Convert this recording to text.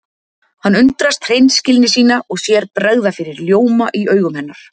Hann undrast hreinskilni sína og sér bregða fyrir ljóma í augum hennar.